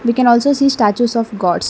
we can also see statues of gods.